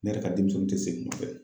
Ne yɛrɛ ka denmisɛnnin tɛ segin u fɛ.